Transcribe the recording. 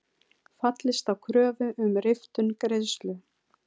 Fallist á kröfu um riftun greiðslu